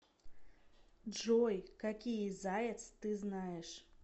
джой какие заяц ты знаешь